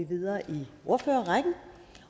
vi videre i ordførerrækken